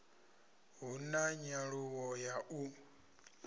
hu na nyaluwo ya u